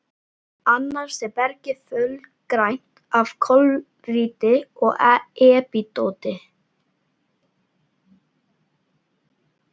Annars er bergið fölgrænt af klóríti og epídóti.